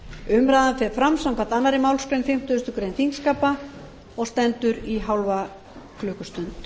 umræðan fer fram samkvæmt annarri málsgrein fimmtugustu grein þingskapa og stendur í hálfa klukkustund